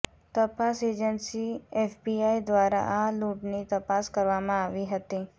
તપાસ agency FBI દ્વારા આ લૂંટની તપાસ કરવામાં આવી હતી